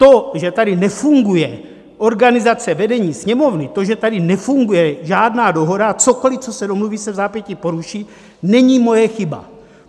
To, že tady nefunguje organizace vedení Sněmovny, to, že tady nefunguje žádná dohoda a cokoli, co se domluví, se vzápětí poruší, není moje chyba.